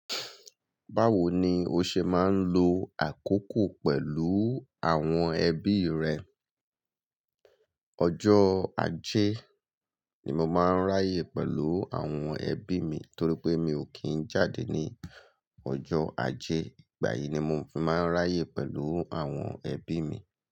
Báwo ni o ṣe máa ń lo àkókò pẹ̀lú àwọn ẹbí rẹ? Ọjọ́ ajé ni mo máa ń ráyè pẹ̀lú àwọn ẹbí mi torí pé mi ò kí ń jáde ní ọjọ́ ajé. Ìgbà yìí ni mo fi máa ń ráyè pẹ̀lú àwọn ẹbí mi.